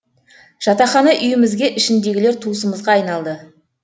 жатақхана үйімізге ішіндегілер туысымызға айналды